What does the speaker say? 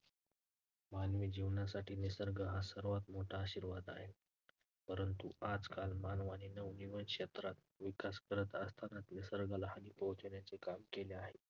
मानवी जीवनासाठी निसर्ग हा सर्वात मोठा आशीर्वाद आहे, परंतु आजकाल मानवाने नवनवीन क्षेत्रात विकास करत असतानाच निसर्गाला हानी पोहचवण्याचे काम केले आहे.